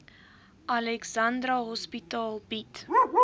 alexandra hospitaal bied